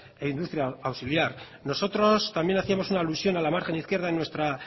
e industria auxiliar nosotros también hacíamos una alusión a la margen izquierda en nuestra